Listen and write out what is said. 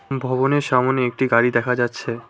হম ভবনের সামোনে একটি গাড়ি দেখা যাচ্ছে।